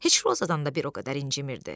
Heç Rozadan da bir o qədər incimirdi.